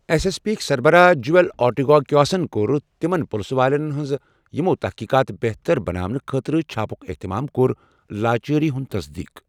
S S P ہٕکۍ سربَراہ، Joel Ortega کیٛواسن کوٚر تمن پٕلسہٕ والٮ۪ن ہنزِ یِمو تحقیٖقات بہتر بَناونہٕ خٲطرٕ چھاپُک احتمام کوٚر، لاچٲری ہُند تصدیٖق ۔